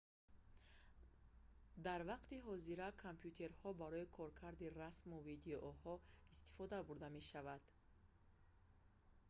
дар вақти ҳозира компютерҳо барои коркарди расму видеоҳо истифода бурда мешаванд